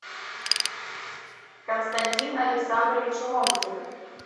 константин александрович ломтев